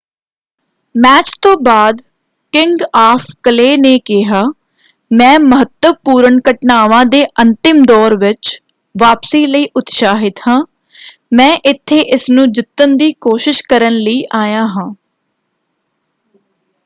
Match ਤੋਂ ਬਾਅਦ king of clay ਨੇ ਕਿਹਾ ਮੈਂ ਮਹੱਤਵਪੂਰਨ ਘਟਨਾਵਾਂ ਦੇ ਅੰਤਿਮ ਦੌਰ ਵਿੱਚ ਵਾਪਸੀ ਲਈ ਉਤਸਾਹਿਤ ਹਾਂ। ਮੈਂ ਇੱਥੇ ਇਸਨੂੰ ਜਿੱਤਣ ਦੀ ਕੋਸ਼ਿਸ਼ ਕਰਨ ਲਈ ਆਇਆ ਹਾਂ।